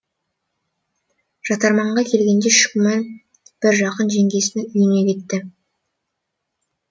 жатарманға келгенде шүкіман бір жақын жеңгесінің үйіне кетті